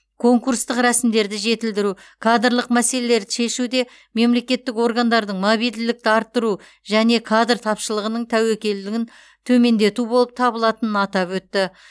конкурстық рәсімдерді жетілдіру кадрлық мәселелерді шешуде мемлекеттік органдардың мобильділікті арттыру және кадр тапшылығының тәуекелін төмендету болып табылатынын атап өтті